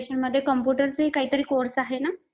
electricianमध्ये computerचे हि काही course आहे ना?